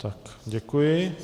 Tak, děkuji.